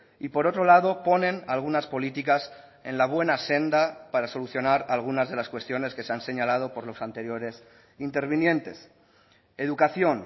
y por otro lado ponen algunas políticas en la buena senda para solucionar algunas de las cuestiones que se han señalado por los anteriores intervinientes educación